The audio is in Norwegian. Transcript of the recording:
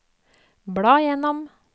bla gjennom